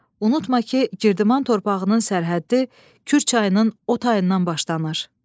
Unutma ki, Girdiman torpağının sərhəddi Kür çayının o tayından başlanır.